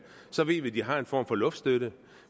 så ved vi at de har en form for luftstøtte